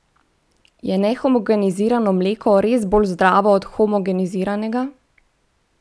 Je nehomogenizirano mleko res bolj zdravo od homogeniziranega?